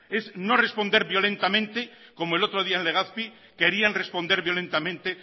es no responder violentamente como el otro día en legazpi querían responder violentamente